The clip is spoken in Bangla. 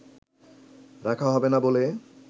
রাখা হবে না বলে